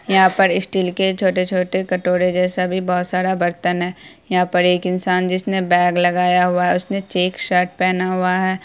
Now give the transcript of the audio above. यहाँ पर स्टील के छोटे छोटे कटोरे जेसा भी बहुत सारा बर्तन है यहाँ पर एक इंसान जिसने बैग लगाया हुआ है। उसने चेक शर्ट पहना हुआ है।